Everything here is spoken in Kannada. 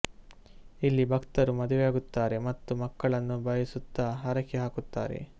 ಇಲ್ಲಿ ಭಕ್ತರು ಮದುವೆಯಾಗುತ್ತಾರೆ ಮತ್ತು ಮಕ್ಕಳನ್ನು ಬಯಸುತ್ತ ಹರಕೆ ಹಾಕುತ್ತಾರೆ